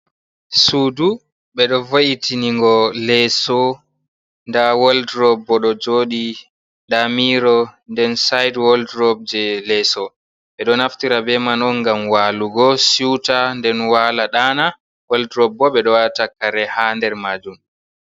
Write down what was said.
Sudu bedo vo’itiningo leso da woldrob bo do jodi da miro nden side woldrob je, leso bedo naftira be man on gam walugo suta nden wala dana woldrob bo be do wata kare ha nder majum.